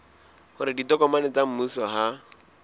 hore ditokomane tsa mmuso ha